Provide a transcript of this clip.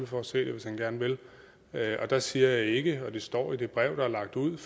for at se det hvis han gerne vil der siger jeg ikke det og det står i det brev der er lagt ud